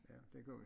Ja det gør vi